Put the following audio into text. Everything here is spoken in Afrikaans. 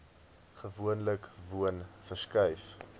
gewoonlik woon verskuif